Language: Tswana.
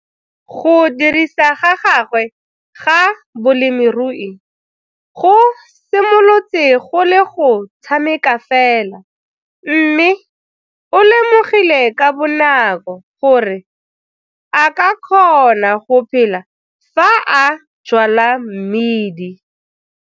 Go dirisa ga gagwe ga bolemirui go simolotse go le go tshameka fela mme o lemogile ka bonako gore ao ka kgona go phela fa a jwala mmidi.